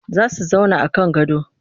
Za su zauna a kan gado